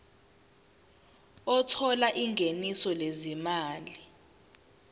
othola ingeniso lezimali